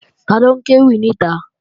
Taló ń kéwì níta?